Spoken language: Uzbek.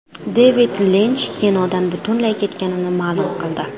Devid Linch kinodan butunlay ketganini ma’lum qildi.